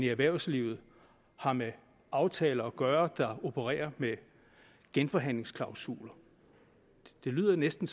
erhvervslivet har med aftaler at gøre der opererer med genforhandlingsklausuler det lyder næsten